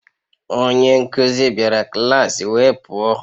Onye nkuzi bịara klas wee pụọ